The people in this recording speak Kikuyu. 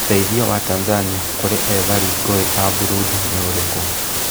ũteeithio wa Tanzania kũrĩ ethari ngũĩ a Burundi nĩ ũrĩ kũ?